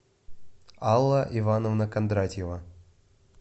алла ивановна кондратьева